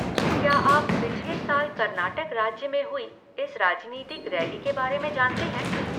क्या आप पिछले साल कर्नाटक राज्य में हुई इस राजनीतिक रैली के बारे में जानते हैं?